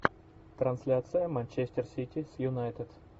трансляция манчестер сити с юнайтед